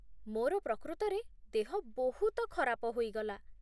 ମୋର ପ୍ରକୃତରେ ଦେହ ବହୁତ ଖରାପ ହୋଇଗଲା